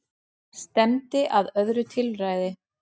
Stefndi að öðru tilræði